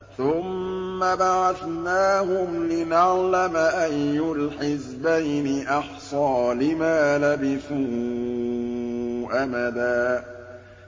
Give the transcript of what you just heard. ثُمَّ بَعَثْنَاهُمْ لِنَعْلَمَ أَيُّ الْحِزْبَيْنِ أَحْصَىٰ لِمَا لَبِثُوا أَمَدًا